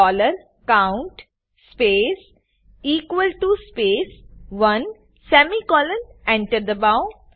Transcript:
dollar count space equal to space 1 semicolon Enter દબાઓ